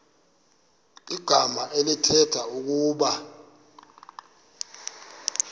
igama elithetha ukuba